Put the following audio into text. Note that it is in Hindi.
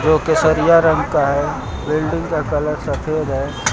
जो केसरिया रंग का है बिल्डिंग का कलर सफेद है।